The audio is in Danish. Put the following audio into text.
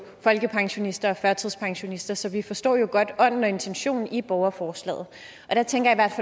folkepensionister og førtidspensionister så vi forstår jo godt ånden og intentionen i borgerforslaget der tænker